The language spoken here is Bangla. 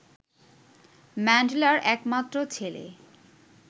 ম্যান্ডেলার একমাত্র ছেলে